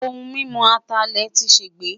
Ohun mimu Atalẹ ti ṣegbe